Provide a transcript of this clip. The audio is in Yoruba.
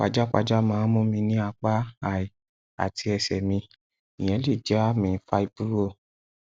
pajápajá máa ń mú mi ní apá ai àti ẹsẹ mi ìyẹn lè jẹ àmì fáíbúrọ